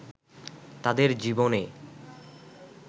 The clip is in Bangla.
তাদের জীবনে